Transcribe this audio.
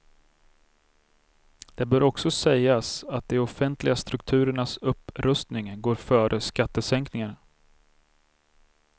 Det bör också sägas att de offentliga strukturernas upprustning går före skattesänkningar.